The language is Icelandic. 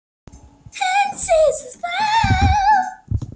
Heinz segir svo frá: